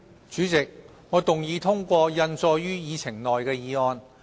主席，我動議通過印載於議程內的議案。